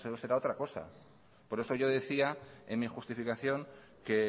eso será otra cosa por eso yo decía en mi justificación que